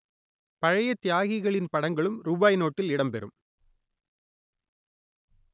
பழைய தியாகிகளின் படங்களும் ரூபாய் நோட்டில் இடம் பெறும்